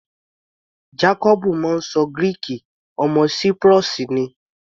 Jacobu máa ń ṣọ Gíríìkì, ọmọ Cyprus ni.